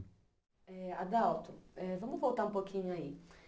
Eh Adalto, eh vamos voltar um pouquinho aí.